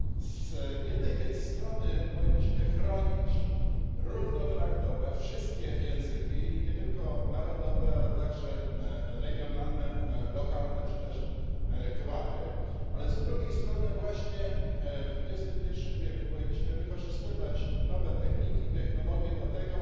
Z jednej więc strony powinniśmy chronić, równo traktować wszystkie języki, nie tylko narodowe, ale także regionalne, lokalne czy też gwary, ale z drugiej strony właśnie w XXI wieku powinniśmy wykorzystywać nowe techniki i technologie do tego,